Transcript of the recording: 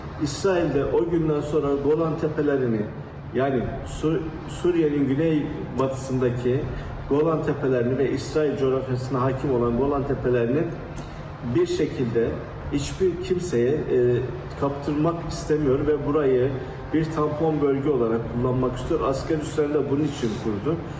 İsrail də o gündən sonra Qolan təpələrini, yəni Suriya Suriyanın güney batısındakı Qolan təpələrini və İsrail coğrafiyasına hakim olan Qolan təpələrini bir şəkildə heç bir kimsəyə qapırmaq istəmir və burayı bir tampon bölgə olaraq kullanmaq istiyor, asker üsleri də bunun üçün qurdu.